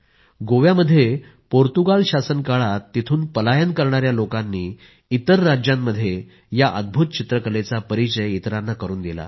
गोव्यामध्ये पोर्तुगाल शासनकाळात तिथून पलायन करणाया लोकांनी इतर राज्यांमध्ये या अद्भूत चित्रकलेचा परिचय इतरांना करून दिला